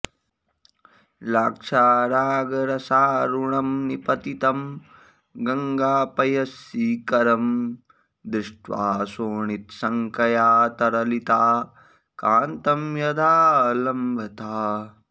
लाक्षारागरसारुणं निपतितं गङ्गापयश्शीकरं दृष्ट्वा शोणितशङ्कया तरलिता कान्तं यदालम्बथाः